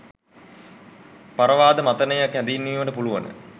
පරවාද මතනය හැඳින්වීමට පුළුවන.